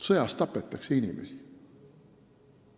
Sõjas tapetakse inimesi.